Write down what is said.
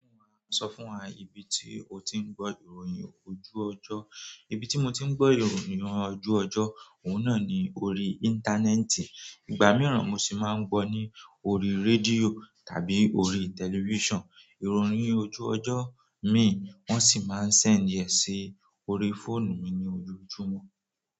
Sọ fún wa ibi tí ó ti ń gbọ́ ìròyìn ojú ọjọ́. Ibi ti mo ti n gbo ìròyìn ojú ojo ohun náà ni orí íńtánẹ́ẹ̀tì. Ìgbà mìíràn mo sì máa ń gbọ́ ní orí rédíò tàbí orí tẹlifíṣàn. Ìròyìn ojú ọjọ́ mi wọ́n sì máa ń send ẹ sí orí fóònù mi ní ojoojùmu.